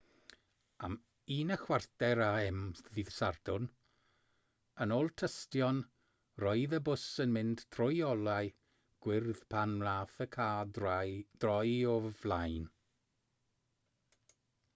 am 1:15 a.m. ddydd sadwrn yn ôl tystion roedd y bws yn mynd trwy olau gwyrdd pan wnaeth y car droi o'i flaen